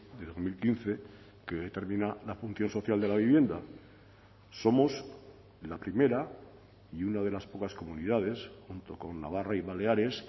de dos mil quince que determina la función social de la vivienda somos la primera y una de las pocas comunidades junto con navarra y baleares